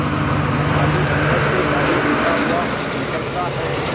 माली अंदर से गाली देता हुआ निकलता है